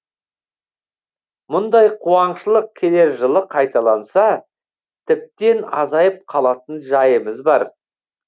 мұндай қуаңшылық келер жылы қайталанса тіптен азайып қалатын жайымыз бар